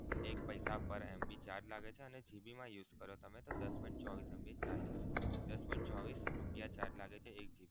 પૈસા per MB charge લાગે છે અને GB મા use કરો તો તમે દસ point ચોવીશ MB charge લાગશે. દસ point ચોવીશ રુપીયા charge લાગશે. એક GB